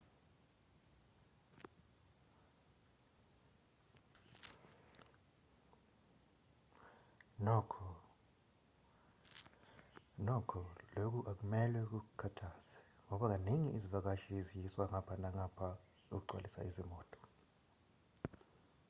nokho lokhu akumelwe kukukhathaze ngoba kaningi izivakashi ziyiswa ngapha nangapha ukugcwalisa izimoto